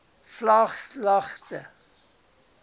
vlaaglagte